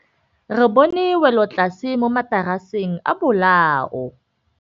Re bone wêlôtlasê mo mataraseng a bolaô.